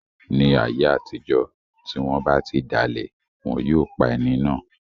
Ni ayé àtijọ́, ti wọ́n ba ti dalẹ̀, wọn yóò pa ẹni náà